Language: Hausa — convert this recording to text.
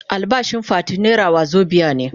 Albashin Fati naira wazobia ne.